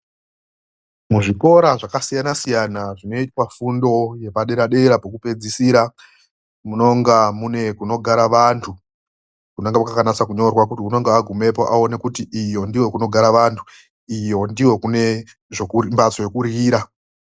Muzvikora zvakasiyana siyana zvinoitwa fundo yepadera dera yekupedzisira kunonga kune kunogara vandu kunenge kwakanyatsonyorwa kutimunhu anenge agumepo anyatsoona kuti uku ndokunogara vandu uko ndokwekuryira